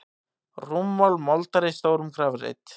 Rúmmál moldar í stórum grafreit.